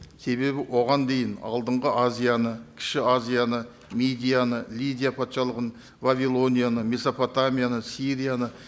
себебі оған дейін алдынғы азияны кіші азияны мидияны лидия патшалығын вавилонияны месопотамияны сирияны